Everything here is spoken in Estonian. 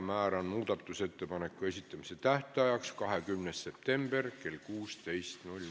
Määran muudatusettepanekute esitamise tähtajaks 26. septembri kell 16.